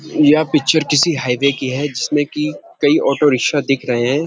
यह पिक्चर किसी हाईवे की है जिसमें की कई ऑटो रिक्शा दिख रहे हैं।